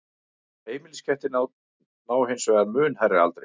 heimiliskettir ná hins vegar mun hærri aldri